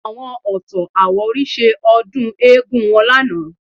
Àwọn Ọ̀tọ̀-Àwórì ṣe ọdún eégún wọn lánàá